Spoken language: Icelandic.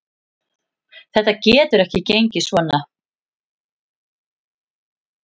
Þetta getur ekki gengið svona.